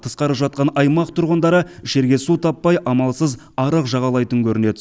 тысқары жатқан аймақ тұрғындары ішерге су таппай амалсыз арық жағалайтын көрінеді